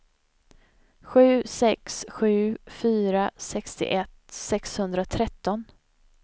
sju sex sju fyra sextioett sexhundratretton